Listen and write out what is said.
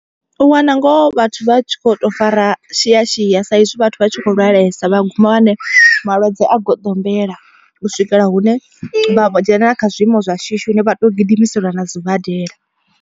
U wana ngoho vhathu vha tshi kho to fara shia shia sa izwi vhathu vha tshi kho lwalesa vha guma vha wane malwadze a goḓombela. U swikela hune vha dzhenelela kha zwiimo zwa shishi hune vha to gidimiseliwa na sibadela.